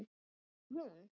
Af hverju hún?